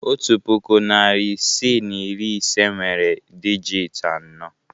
Otu puku, narị isii na iri ise nwere dijịt anọ.